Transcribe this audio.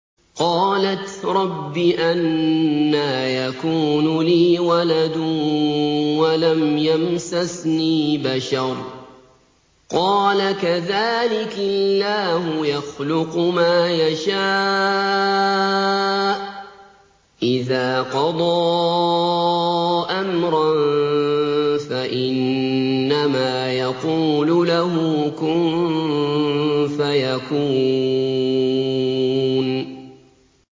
قَالَتْ رَبِّ أَنَّىٰ يَكُونُ لِي وَلَدٌ وَلَمْ يَمْسَسْنِي بَشَرٌ ۖ قَالَ كَذَٰلِكِ اللَّهُ يَخْلُقُ مَا يَشَاءُ ۚ إِذَا قَضَىٰ أَمْرًا فَإِنَّمَا يَقُولُ لَهُ كُن فَيَكُونُ